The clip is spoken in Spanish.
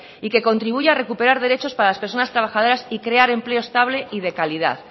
y que contribuya a recuperar derechos para las personas trabajadores y crear empleo estable y de calidad